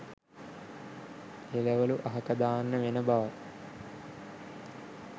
එළවළු අහක දාන්න වෙන බව